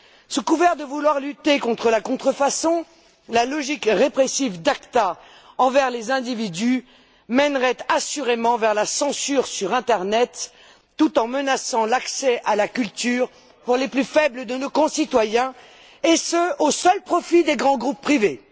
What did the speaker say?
Sous couvert de vouloir lutter contre la contrefaçon, la logique répressive de l'ACTA envers les individus mènerait assurément vers la censure sur l'internet, tout en menaçant l'accès à la culture pour les plus faibles de nos concitoyens, et ce au seul profit des grands groupes privés.